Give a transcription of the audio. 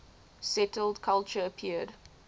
settled culture appeared